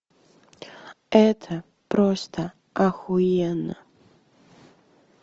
это просто охуенно